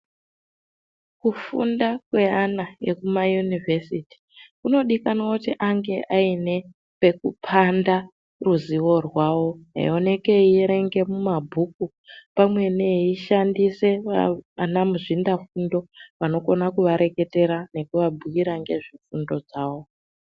Kufunda kwevana wekumaunivhesiti inodikanwa pekupanda ruzivo rwawobeionekwa eierenga mabhuku pamweni eishandisa Vana muzvinabfundo vanokona kuvareketera nekuvabhuira nezvefundo zvavo.